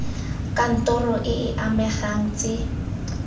kantoro e e amegang tse